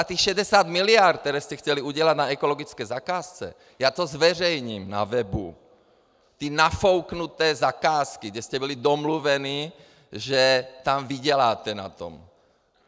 A těch 60 miliard, které jste chtěli udělat na ekologické zakázce, já to zveřejním na webu, ty nafouknuté zakázky, kde jste byli domluveni, že tam vyděláte na tom.